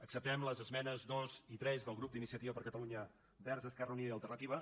acceptem les esmenes dos i tres del grup d’iniciativa per catalunya verds esquerra unida i alternativa